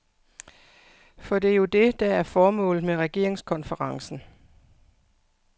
For det er jo det, der er formålet med regeringskonferencen.